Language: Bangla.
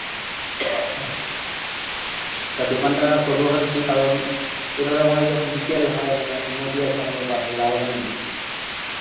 তা দোকানটা করব ভাবছি কারণ এই ধরো আমাদের যখন বিকেল হয় মানে একটা নদী আছে আমাদের পাশেই, দ্বারকা নদী.